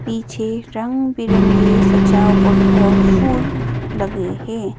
पीछे रंग बिरंगी सजावट और फूल लगे हैं।